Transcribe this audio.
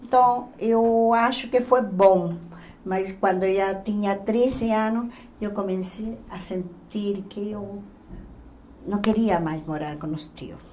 Então eu acho que foi bom, mas quando eu já tinha trezes anos, eu comecei a sentir que eu não queria mais morar com os tios.